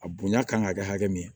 A bonya kan ka kɛ hakɛ min ye